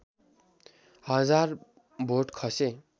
हजार भोट खसे